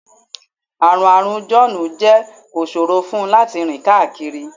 Àrùn Àrùn John jẹ́ kó ṣòro fún un láti rìn káàkiri